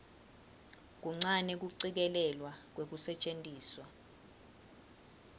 kuncane kucikelelwa kwekusetjentiswa